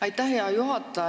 Aitäh, hea juhataja!